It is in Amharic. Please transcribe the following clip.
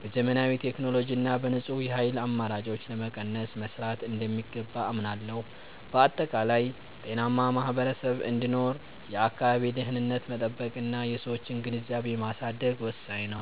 በዘመናዊ ቴክኖሎጂ እና በንጹህ የኃይል አማራጮች ለመቀነስ መሥራት እንደሚገባ አምናለሁ። በአጠቃላይ፣ ጤናማ ማኅበረሰብ እንዲኖር የአካባቢን ደኅንነት መጠበቅና የሰዎችን ግንዛቤ ማሳደግ ወሳኝ ነው።